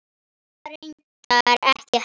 Mamma reyndar ekki heldur.